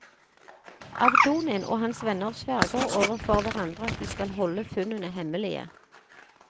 Avdonin og hans venner sverger overfor hverandre at de skal holde funnene hemmelige.